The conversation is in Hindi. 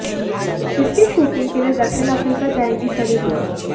इसकी शूटिंग के लिए दक्षिण अफ्रीका जाएंगी सनी लियोन